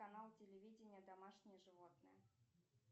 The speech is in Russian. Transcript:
канал телевидения домашние животные